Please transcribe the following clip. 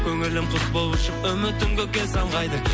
көңілім құс боп ұшып үмітім көкке самғайды